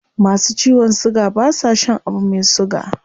Masu ciwon suga ba sa shan abu mai suga